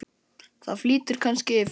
Það flýtir kannski fyrir.